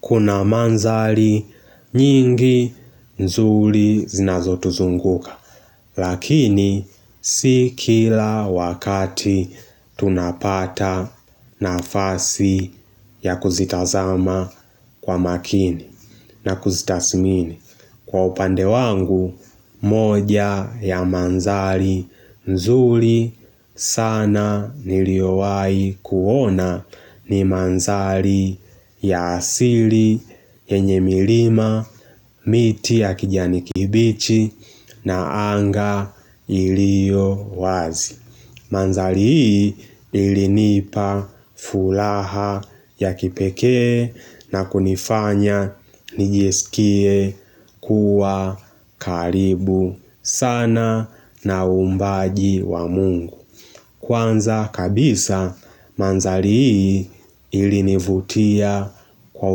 Kuna mandhari nyingi nzuri zinazo tuzunguka Lakini si kila wakati tunapata nafasi ya kuzitazama kwa makini na kuzitathimini Kwa upande wangu moja ya mandhari nzuri sana niliyowahi kuona ni mandhari ya asili, yenye milima, miti ya kijani kibichi na anga iliyo wazi. Mandhari hii ilinipa furaha ya kipeke na kunifanya nijisikie kuwa karibu sana na uumbaji wa Mungu Kwanza kabisa mandhari hii ilinivutia kwa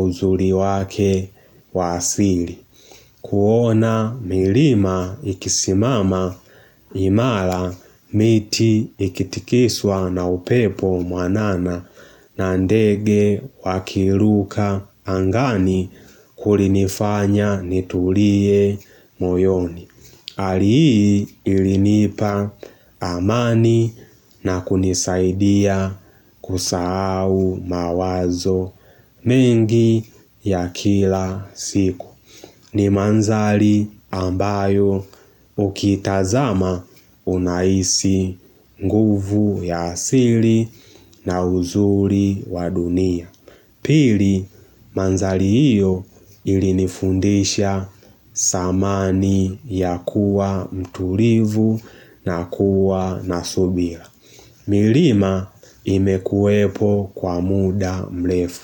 uzuri wake wa asili kuona milima ikisimama imara miti ikitikiswa na upepo mwanana na ndege wakiruka angani kulinifanya nitulie moyoni. Ali hii ilinipa amani na kunisaidia kusahau mawazo mengi ya kila siku. Ni mandhari ambayo ukiitazama una hisi nguvu ya asili na uzuri wa dunia. Pili mandhari iyo ili nifundisha thamani ya kuwa mtulivu na kuwa nasubira milima imekuwepo kwa muda mrefu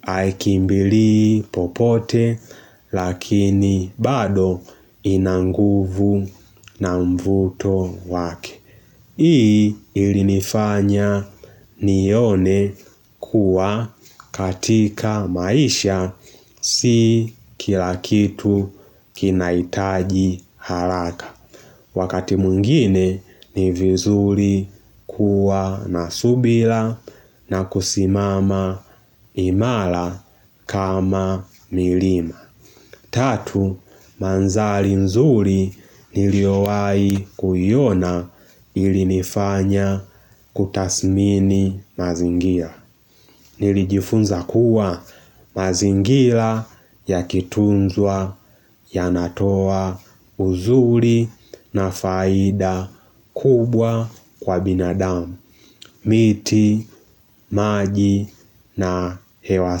Haikimbilii popote lakini bado inanguvu na mvuto wake. Hii ilinifanya nione kuwa katika maisha si kilakitu kinahitaji haraka. Wakati mwingine ni vizuri kuwa na subira na kusimama imara kama milima. Tatu, mandhari nzuri niliyowahi kuiona ili nifanya kutathimini mazingira. Nilijifunza kuwa mazingira yakitunzwa yanatoa uzuri na faida kubwa kwa binadamu. Miti, maji na hewa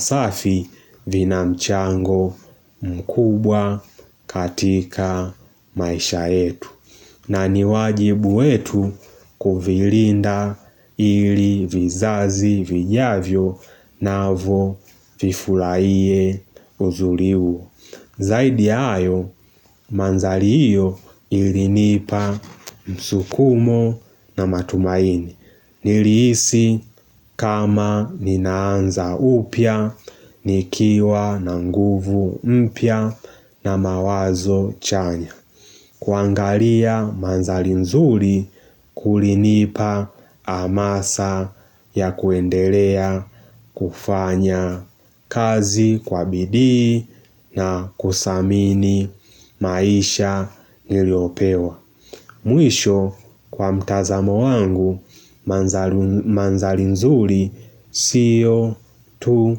safi vina mchango mkubwa katika maisha yetu. Na ni wajibu wetu kuvilinda ili vizazi vijavyo navyo vifurahie uzuri huo. Zaidi ya hayo mandhari hiyo ilinipa msukumo na matumaini. Nilihisi kama ninaanza upya, nikiwa na nguvu mpya na mawazo chanya kuangalia mandhari nzuri kulinipa hamasa ya kuendelea kufanya kazi kwa bidii na kuthamini maisha niliyopewa Mwisho kwa mtazamo wangu mandhari nzuri siyo tu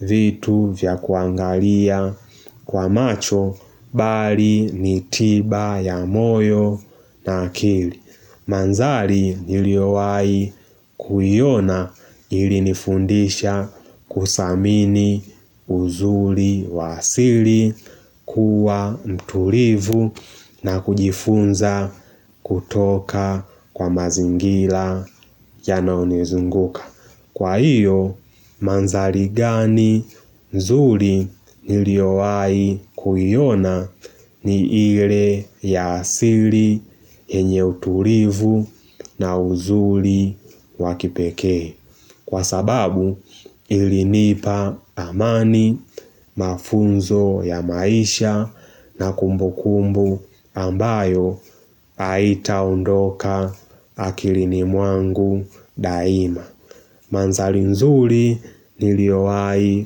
vitu vya kuangalia kwa macho bali nitiba ya moyo na akili. Mandhari niliyowahi kuiona ili nifundisha kuthamini uzuri wa asili kuwa mtulivu na kujifunza kutoka kwa mazingira yanayonizunguka Kwa hiyo, mandhari gani nzuri niliyowahi kuiona ni ile ya asili yenye utulivu na uzuri wakipekee. Kwa sababu, ilinipa amani mafunzo ya maisha na kumbukumbu ambayo haitaondoka akilini mwangu daima. Mandhari nzuri, niliyowahi.